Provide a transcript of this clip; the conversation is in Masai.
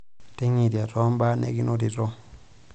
Ting'iria too mbaa nikinotito.